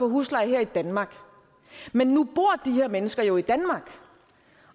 husleje her i danmark men nu bor her mennesker jo i danmark